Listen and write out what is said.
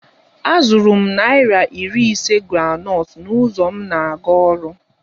Azụrụ m naira iri ise groundnut n'ụzọ m na-aga ọrụ